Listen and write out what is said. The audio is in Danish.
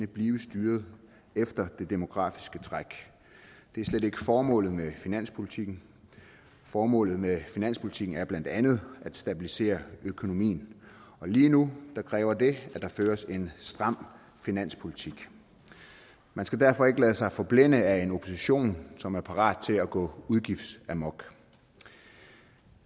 blive styret efter det demografiske træk det er slet ikke formålet med finanspolitikken formålet med finanspolitikken er blandt andet at stabilisere økonomien og lige nu kræver det at der føres en stram finanspolitik man skal derfor ikke lade sig forblænde af en opposition som er parat til at gå udgiftsamok